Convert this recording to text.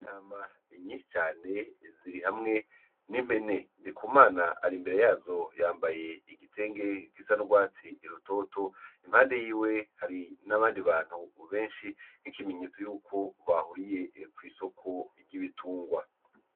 Intama nyinshi cane ziri hamwe n'impene. Ndikumana ari imbere yazo yambaye igitenge gisa n'urwatsi rutoto, impande yiwe hari n'abandi bantu benshi nk'ikimenyetso yuko bahuriye kw'isoko ry'ibitungwa.